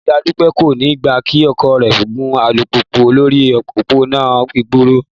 Ìyá Dúpẹ́ kò ní gbà kí ọkọ rẹ̀ gun alùpùpù lórí òpópónà gbòòrò